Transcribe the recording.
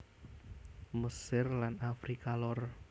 Mesir lan Afrika Lor